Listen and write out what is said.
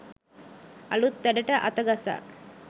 අලුත් වැඩට අතගසා